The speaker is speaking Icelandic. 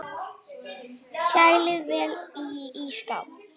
Kælið vel í ísskáp.